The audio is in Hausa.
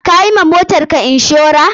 Ka yi wa motarka inshora?